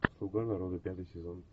слуга народа пятый сезон